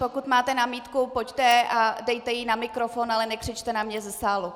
Pokud máte námitku, pojďte a dejte ji na mikrofon, ale nekřičte na mě ze sálu.